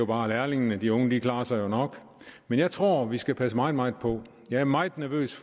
bare lærlingene og de unge klarer sig jo nok men jeg tror at vi skal passe meget meget på jeg er meget nervøs